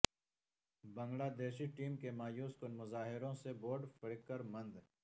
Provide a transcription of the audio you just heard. بنگلہ دیشی ٹیم کے مایوس کن مظاہروں سے بورڈ فکرمند